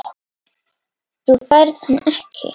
Þú færð hann ekki.